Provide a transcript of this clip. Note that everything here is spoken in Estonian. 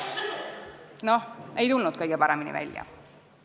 Noh, ei tulnud kõige paremini välja.